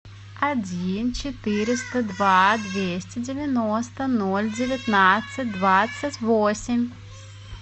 один четыреста два двести девяносто ноль девятнадцать двадцать восемь